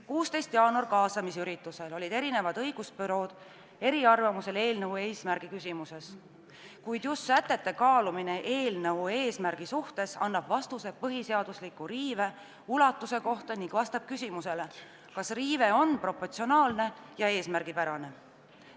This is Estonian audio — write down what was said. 16. jaanuari kaasamisüritusel olid õigusbürood eriarvamusel eelnõu eesmärgi küsimuses, kuid just sätete kaalumine eelnõu eesmärgi suhtes annab vastuse põhiseadusliku riive ulatuse kohta ning vastab küsimusele, kas riive on proportsionaalne ja eesmärgipärane.